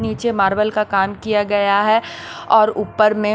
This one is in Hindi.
नीचे मार्बल का काम किया गया है और ऊपर में--